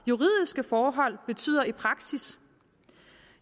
juridiske forhold betyder i praksis